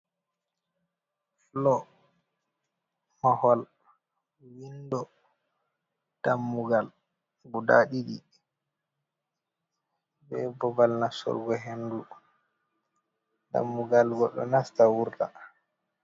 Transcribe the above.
Floo, mahol, windo, dammugal guda ɗiɗi. Be babbal nastorgo hendu, dammugal goɗɗo nasta wurta.